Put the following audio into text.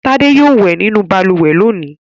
Tádé yóò wẹ̀ nínú balùwẹ̀ lónìí!